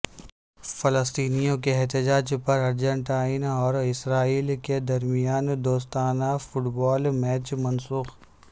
فلسطینیوں کے احتجاج پر ارجنٹائن اور اسرائیل کے درمیان دوستانہ فٹبال میچ منسوخ